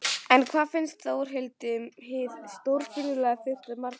En hvað fannst Þórhildi um hið stórfurðulega fyrsta mark Fylkis?